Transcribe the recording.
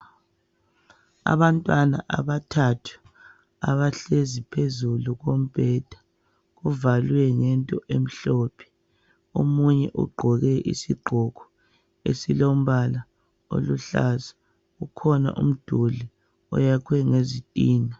Abantwana abathathu abahlezi phezulu kombheda kuvalwe ngento emhlophe omunye ugqoke isigqoko esilombala oluhlaza kukhona umduli oyakhwe ngezitina.